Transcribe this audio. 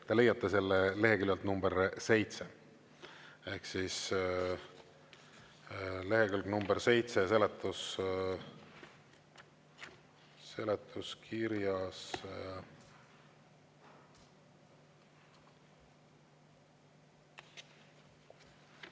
Te leiate selle leheküljelt nr 7 ehk siis lehekülg nr 7 seletuskirjas.